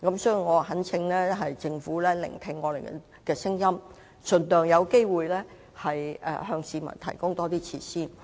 所以，我懇請政府聆聽議員的意見，盡量把握機會向市民提供更多設施。